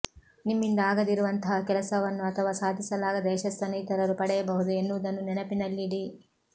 ನಿಮ್ಮಿಂದ ಆಗದಿರುವಂತಹ ಕೆಲಸವನ್ನು ಅಥವಾ ಸಾಧಿಸಲಾಗದ ಯಶಸ್ಸನ್ನು ಇತರರು ಪಡೆಯಬಹುದು ಎನ್ನುವುದನ್ನು ನೆನಪಿನಲ್ಲಿ ಇಡಿ